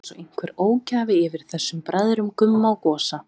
Það var einsog einhver ógæfa yfir þessum bræðrum, Gumma og Gosa.